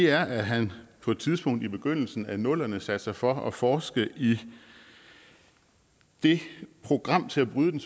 er at han på et tidspunkt i begyndelsen af nullerne satte sig for at forske i det program til at bryde den